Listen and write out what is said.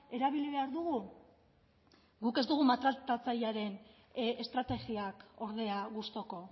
erabili behar dugu guk ez dugu maltratatzailearen estrategiak ordea gustuko